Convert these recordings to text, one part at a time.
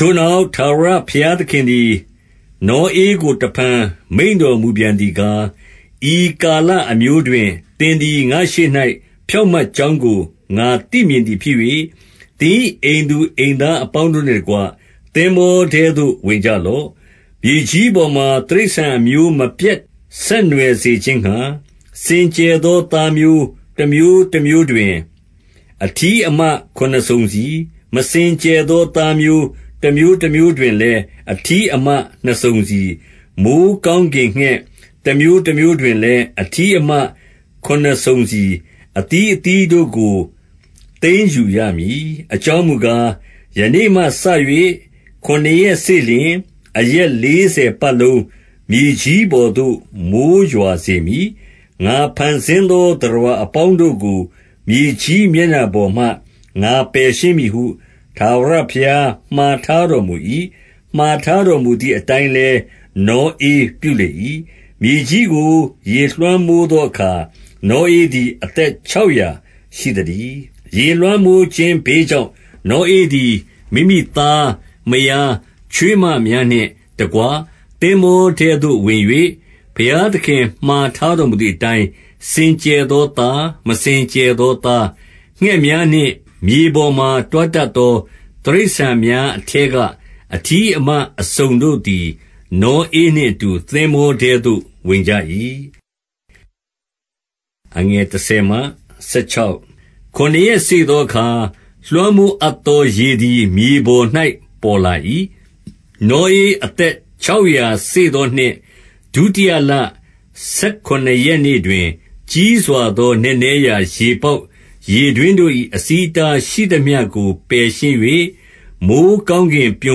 ထိုနောက်၊ ထာဝရဘုရားသခင်သည် နောဧကို တဖန် မိန့်တော်မူပြန်သည်ကား၊ ဤကာလအမျိုးတွင် သင်သည် ငါ့ရှေ့၌ ဖြောင့်မတ်ကြောင်းကို ငါသိမြင်သည် ဖြစ်၍၊ သင်၏အိမ်သူအိမ်သားအပေါင်းတို့နှင့်တကွ၊ သင်္ဘောထဲသို့ ဝင်ကြလော့။ 2 မြေကြီးပေါ်မှာ တိရစ္ဆာန်အမျိုးမပျက်ဆက်နွယ် စေခြင်းငှါ၊ စင်ကြယ်သော သားမျိုး၊ တမျိုးတမျိုးတွင် အထီးအမခုနစ်စုံစီ၊ မစင်ကြယ်သော သားမျိုး၊ တမျိုး တမျိုးတွင်လည်း အထီးမနှစ်စုံစီ၊ 3 မိုဃ်းကောင်းကင်ငှက်၊ တမျိုးမျိုးတွင်လည်း အထီးအမခုနစ်စုံစီ၊ အသီးသီးတို့ကို သိမ်းယူရမည်။ 4 အကြောင်းမူကား၊ ယနေ့မှစ၍ ခုနစ်ရက်စေ့လျှင်၊ အရက်လေးဆယ်ပတ်လုံး မြေကြီးပေါ်သို့ မိုဃ်း ရွာစေမည်။ ငါဖန်ဆင်းသော သတ္တဝါအပေါင်းတို့ကို၊ မြေကြီးမျက်နှာပေါ်မှ ငါပယ်ရှင်းမည်ဟု၊ ထာဝရဘုရား မှာထားတော်မူ၏။ 5 မှာထားတော်မူသည်အတိုင်းလည်း နောဧ ပြုလေ၏။ 6 မြေကြီးကို ရေလွှမ်းမိုးသောအခါ နောဧသည် အသက်ခြောက်ရာရှိသတည်း။ 7 ရေလွှမ်းမိုးခြင်းဘေးကြောင့်၊ နောဧသည် မိမိ သား၊ မယား၊ ချွေးမများနှင့်တကွ၊ သင်္ဘောထဲသို့ ဝင်၍ 8 ဘုရားသခင် မှာထားတော်မူသည့်အတိုင်း စင်ကြယ်သောသား၊ မစင်ကြယ်သောသား၊ ငှက်များနှင့် မြေပေါ်မှာ တွားတတ်သော တိရစ္ဆာန်များအထဲက၊ 9 အထီးအမအစုံတို့သည်၊ နောဧနှင့်အတူ သင်္ဘောထဲသို့ ဝင်ကြ၏။ 10 ခုနစ်ရက်စေ့သောအခါ၊ လွှမ်းမိုးအပ်သော ရေသည် မြေပေါ်၌ ပေါ်လာ၏။ 11 နောဧအသက်ခြောက်ရာစေ့သောနှစ်၊ ဒုတိယလ၊ ဆယ်ခုနစ်ရက်နေ့တွင်၊ ကြီးစွာသော နက်နဲရာ ရေပေါက်ရေတွင်းတို့၏ အဆီးအတားရှိသမျှကို ပယ်ရှင်း၍၊ မိုဃ်းကောင်းကင်ပြွ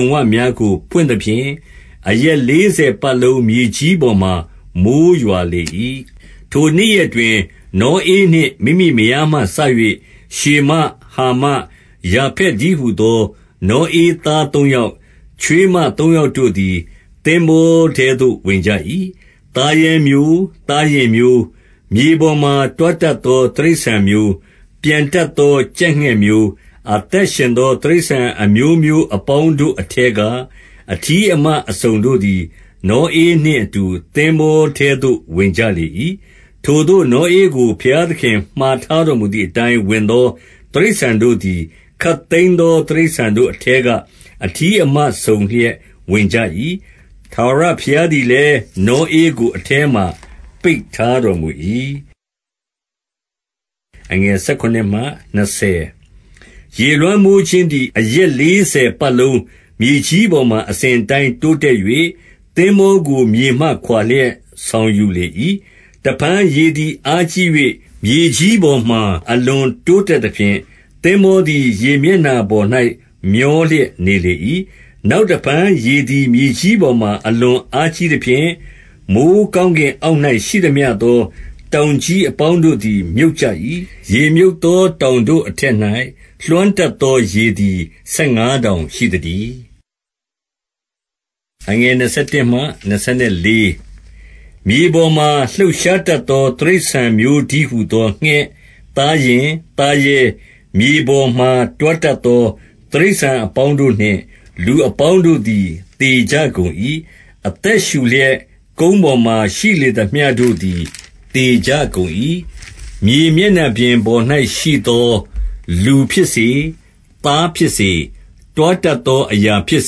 န်ပများကို ဖွင့်သဖြင့်၊ 12 အရက်လေးဆယ်ပတ်လုံးမြေကြီးပေါ်မှာ မိုဃ်းရွာလေ၏။ 13 ထိုနေ့ရက်တွင်၊ နောဧနှင် မိမိမယားမှစ၍ ရှေမ၊ ဟာမ၊ ယာဖက်တည်းဟူသော နောဧသားသုံးယောက်၊ ချွေးမသုံးယောက်တို့သည် သင်္ဘောထဲသို့ ဝင်ကြ၏။ 14 သားရဲမျိုး၊ သားယဉ်မျိုး၊ မြေပေါ်မှာ တွားတတ်သော တိရစ္ဆာန်မျိုး၊ ပျံတက်သော ကြက်ငှက်မျိုး၊ 15 အသက်ရှင်သော တိရစ္ဆာန်အမျိုးအမျိုး အပေါင်းတို့အထဲက၊ အထီးအမအစုံတို့သည်၊ နောဧနှင့် အတူ သင်္ဘောထဲသို့ ဝင်ကြလေ၏။ 16 ထိုသို့နောဧကို ဘုရားသခင်မှာထားတော်မူသည်အတိုင်းဝင်သောတိရစ္ဆာန်တို့သည်၊ ခပ်သိမ်းသော တိရစ္ဆာန်တို့အထဲက၊ အထီးအမ စုံလျက်ဝင်ကြ၏။ ထာဝရဘုရားသည်လည်း နောဧကို အထဲမှာ ပိတ်ထားတော်မူ၏။ 17 ရေလွှမ်းမိုးခြင်းသည် အရက်လေးဆယ်ပတ်လုံး မြေကြီးပေါ်မှာ အစဉ်အတိုင်း တိုးတက်၍ သင်္ဘောကို မြေမှခွါလျက် ဆောင်ယူလေ၏။ 18 တဖန်ရေသည်အားကြီး၍ မြေကြီးပေါ်မှာ အလွန်တိုးတက်သဖြင့်၊ သင်္ဘောသည် ရေမျက်နှာပေါ်၌ မျောလျက်နေလေ၏။ 19 နောက်တဖန်ရေသည် မြေကြီးပေါ်မှာ အလွန် အားကြီးသဖြင့် မိုဃ်းကောင်းကင်အောက်၌ ရှိသမျှသော တောင်ကြီးအပေါင်းတို့သည် မြုပ်ကြ၏။ 20 ရေမြုပ်သောတောင်တို့ အထက်၌ လွှမ်းတတ်သော ရေသည် ဆယ်ငါးတောင်ရှိသတည်း။ 21 မြေပေါ်မှာ လှုပ်ရှားတတ်သော တိရစ္ဆာန်မျိုးတည်းဟူသော ငှက်၊ သားယဉ်၊ သားရဲ၊ မြေပေါ်မှာ တွားတတ်သော တိရစ္ဆာန်အပေါင်းတို့နှင့် လူအပေါင်းတို့သည် သေကြကုန်၏။ 22 အသက်ရှုလျက် ကုန်းပေါ်မှာ ရှိလေသမျှတို့သည် သေကြကုန်၏။ 23 မြေမျက်နှာပေါ်၌ ရှိသောလူဖြစ်စေ၊ သားဖြစ်စေ တွားတတ်သော အရာဖြစ်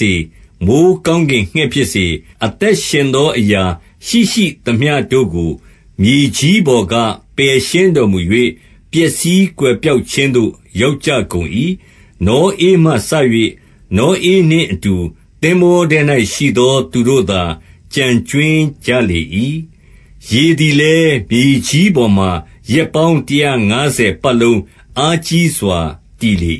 စေ၊ မိုဃ်းကောင်းကင်ငှက် ဖြစ်စေ၊ အသက်ရှင်သော အရာရှိရှိသမျှတို့ကို မြေကြီးပေါ်က ပယ်ရှင်းတော်မူ၍၊ ပျက်စီးကွယ်ပျောက်ခြင်းသို့ ရောက်ကြကုန်၏။ နောဧမှ စ၍ နောဧနှင့်အတူ သင်္ဘောထဲ၌ရှိသော သူတို့သာကျန်ကြွင်းကြလေ၏။ 24 ရေသည်လည်း မြေကြီးပေါ်မှာ ရက်ပေါင်း တရာ့ငါးဆယ်ပတ်လုံး အားကြီးစွာ တည်လေ